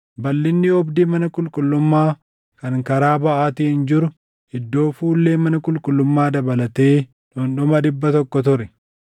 Balʼinni oobdii mana qulqullummaa kan karaa baʼaatiin jiru iddoo fuullee mana qulqullummaa dabalatee dhundhuma dhibba tokko ture.